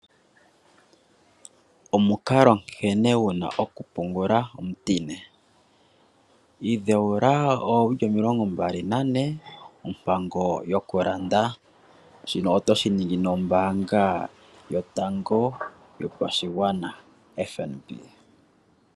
Omukalo nkene wuna okupungula omutine. Idheula oowili omilongo mbali nane ompango yokulanda, shino otoshi ningi nombaanga yotango yopashigwana.